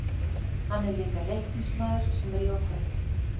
Hann er líka Leiknismaður sem er jákvætt.